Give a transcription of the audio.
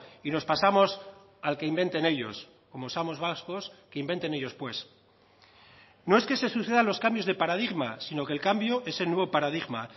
y nos pasamos al que inventen ellos como somos vascos que inventen ellos pues no es que se sucedan los cambios de paradigma sino que el cambio es el nuevo paradigma